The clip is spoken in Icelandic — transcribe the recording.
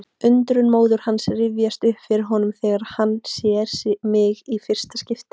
Undrun móður hans rifjast upp fyrir honum þegar hann sér mig í fyrsta skipti.